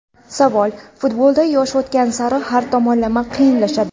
Savol: Futbolda yosh o‘tgan sari har tomonlama qiyinlashadi.